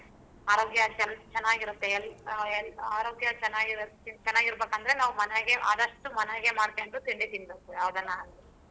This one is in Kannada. ಆರೋಗ್ಯ ಚೆನ್ನಾಗಿರುತ್ತೆ ಆರೋಗ್ಯ ಚೆನ್ನಾಗಿರಬೇಕಂದ್ರೆ ನಾವು ಮನ್ಯಾಗೆ ಆದಷ್ಟೂ ಮನ್ಯಾಗೆ ಮಾಡ್ಕೊಂಡು ತಿಂಡಿ ತೀನ್ಬೇಕು ಯಾವ್ದನ ಆಗ್ಲಿ.